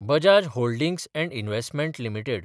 Bajaj holdings & investment limited